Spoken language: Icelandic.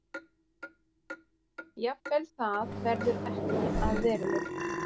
Jafnvel það verður ekki að veruleika.